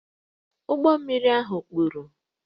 Ụgbọ mmiri ha kpuru